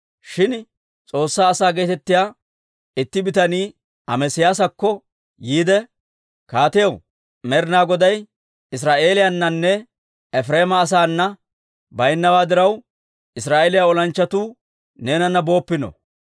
Shin S'oossaa asaa geetettiyaa itti bitanii Amesiyaasakko yiide, «Kaatiyaw, Med'inaa Goday Israa'eeliyaananne Efireema asaana baawa diraw, Israa'eeliyaa olanchchatuu neenana booppino.